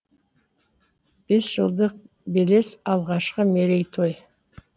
бес жылдық белес алғашқы мерейтой